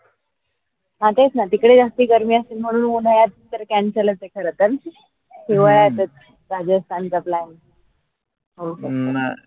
हां तेच ना तिकडे जास्ती गर्मी असेल म्हणून उन्हाळ्यात तर cancel लंच ए खर तर राजस्थान